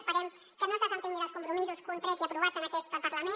esperem que no es desentengui dels compromisos contrets i aprovats en aquest parlament